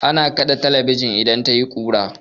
Ana kaɗe talabijin idan tayi kura.